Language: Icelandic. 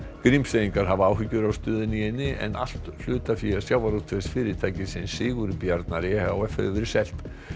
Grímseyingar hafa áhyggjur af stöðunni í eynni en allt hlutafé Sigurbjarnar e h f hefur verið selt